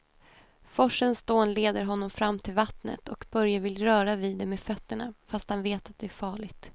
Forsens dån leder honom fram till vattnet och Börje vill röra vid det med fötterna, fast han vet att det är farligt.